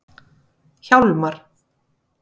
Hjálmar